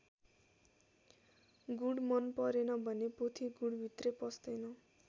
गुँड मन परेन भने पोथी गुँडभित्रै पस्दैन।